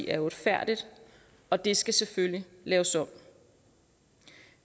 er uretfærdigt og det skal selvfølgelig laves om